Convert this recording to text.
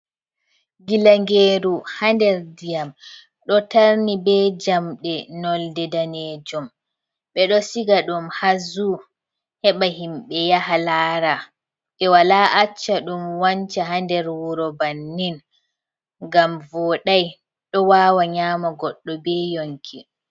Ngilangeru haa nder ndiyam, ɗo tarni be jamɗe nolde daneejum. Ɓe ɗo siga ɗum haa zuu heɓa himɓɓe yaha laara. Ɓe wala acca ɗum wanca haa nder wuro bannin, ngam vooɗai ɗo wawa nyaama goɗɗo be yonki.